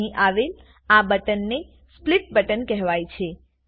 હવે અહીં આવેલ આ બટનને સ્પ્લિટ બટન કહેવાય છે